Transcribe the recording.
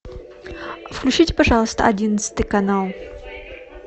включите пожалуйста одиннадцатый канал